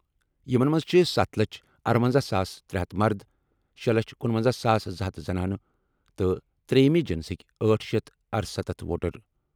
یِمَن منٛز چھِ ستھ لچھ ارونزاہ ساس ترے ہتھ مرد، شے لچھ کنونزاہ ساس زٕ ہتھ زنانہٕ تہٕ ترٛیٚیِمہِ جنسٕکہِ أٹھ شٮ۪تھ ارستتھ ووٹر ۔